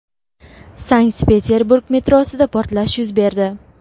Sankt-Peterburg metrosida portlash yuz berdi.